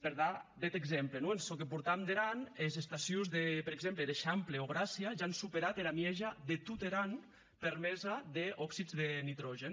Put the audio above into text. per dar bèth exemple non en çò que portam der an es estacions de per exemple er eixample o gràcia ja an superat era mieja de tot er an permesa d’oxids de nitrògen